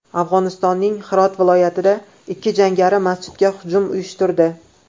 Afg‘onistonning Hirot viloyatida ikki jangari masjidga hujum uyushtirdi.